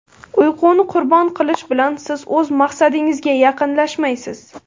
Uyquni qurbon qilish bilan siz o‘z maqsadingizga yaqinlashmaysiz.